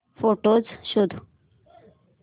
photos शोध